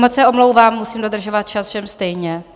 Moc se omlouvám, musím dodržovat čas všem stejně.